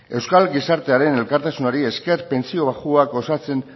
euskal gizartearen elkartasunari esker pentsio baxuak osatzen